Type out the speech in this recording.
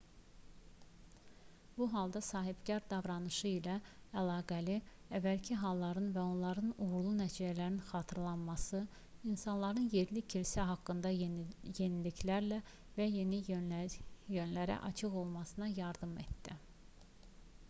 bu halda sahibkar davranışı ilə əlaqəli əvvəlki halların və onların uğurlu nəticələrinin xatırlanması insanların yerli kilsə haqqında yeniliklərə və yeni yönlərə açıq olmasına yardım etdi